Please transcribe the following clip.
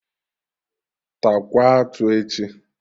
Taakwa atụ echi!